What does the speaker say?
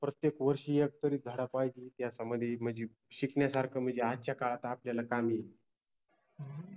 प्रत्येक वर्षि एकतरि धडा पाहिजे इतिहासामधि मनजि शिकन्यासारख मनजेआजच्या काळात आपल्याला कामी येईल